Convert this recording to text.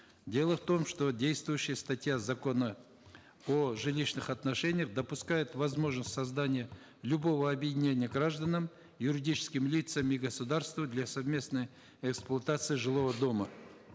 дело в том что действующая статья закона о жилищных отношениях допускает возможность создания любого объединения гражданам юридическим лицам и государства для совместной эксплуатации жилого дома